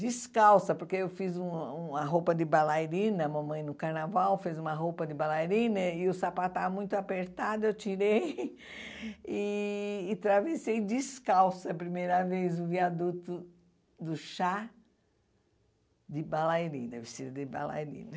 Descalça, porque eu fiz um uma roupa de balairina, a mamãe no carnaval fez uma roupa de balairina e o sapato estava muito apertado, eu tirei e e travessei descalça, a primeira vez, o viaduto do chá de balairina, vestido de balairina.